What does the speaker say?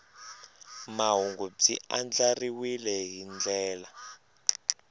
mahungu byi andlariwile hi ndlela